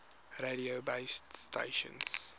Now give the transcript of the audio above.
radio base stations